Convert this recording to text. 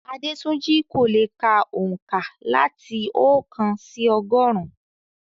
Adetunji kò lè ka oǹkà láti oókan sí ọgọ́rùn-ún.